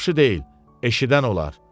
Yaxşı deyil, eşidən olar.